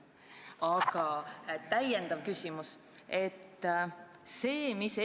Aga täiendav küsimus on niisugune.